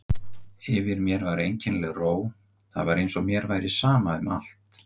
Yfir mér var einkennileg ró, það var eins og mér væri sama um allt.